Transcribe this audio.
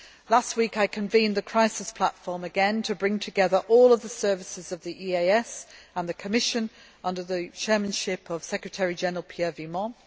Last week I convened the Crisis Platform again to bring together all the services of the EEAS and the Commission, under the chairmanship of Secretary General Pierre Vimont.